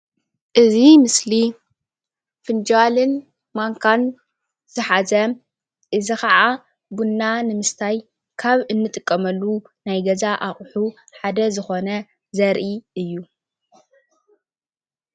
እዚ ምስሊ ፍንጃልን ማንካን ዝሓዘ እዚ ከዓ ቡና ንምስታይ ካብ እንጥቀመሉ ናይ ገዛ ኣቁሑ ሓደ ዝኮነ ዘርኢ እዩ ።